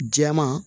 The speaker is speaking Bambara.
Jɛman